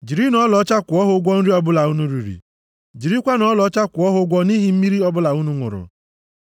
Jirinụ ọlaọcha kwụọ ha ụgwọ nri ọbụla unu riri, jirikwanụ ọlaọcha kwụọ ha ụgwọ nʼihi mmiri ọbụla unu ṅụrụ.’ ”